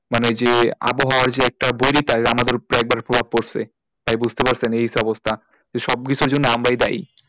মানে যে আবহাওয়ার যে একটা আমাদের উপরে এবার প্রভাব পড়ছে তাই বুঝতে পারছেন এই সব অবস্থা সব কিছুর জন্য আমরাই দায়ী,